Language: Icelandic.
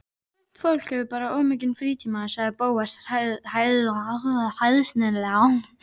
Sumt fólk hefur bara of mikinn frítíma sagði Bóas hæðnislega.